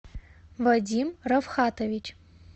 вадим равхатович